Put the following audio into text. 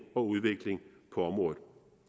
og udvikling på området